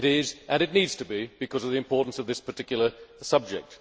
It is, and it needs to be because of the importance of this particular subject.